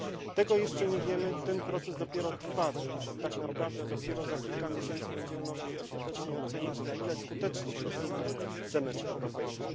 Tego jeszcze nie wiemy, ten proces dopiero trwa, więc tak naprawdę dopiero za kilka miesięcy będziemy mogli ostatecznie ocenić, na ile skuteczny jest semestr europejski.